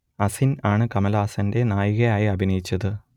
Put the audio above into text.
അസിൻ ആണ് കമലഹാസന്റെ നായിക ആയി അഭിനയിച്ചത്